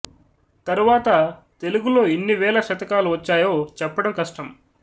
తరువాత తెలుగులో ఎన్ని వేల శతకాలు వచ్చాయో చెప్పడం కష్టం